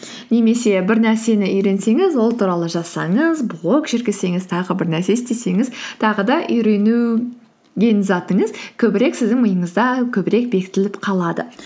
немесе бір нәрсені үйренсеңіз ол туралы жазсаңыз блог жүргізсеңіз тағы бір нәрсе істесеңіз тағы да затыңыз көбірек сіздің миыңызда көбірек бекітіліп қалады